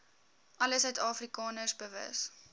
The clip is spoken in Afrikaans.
alle suidafrikaners bewus